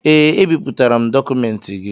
Ee, ebipụtara m dọkụmentị gị